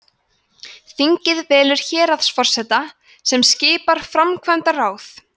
þingið velur héraðsforseta sem skipar framkvæmdaráð